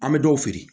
An bɛ dɔw feere